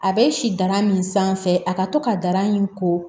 A bɛ si dara min sanfɛ a ka to ka dara in ko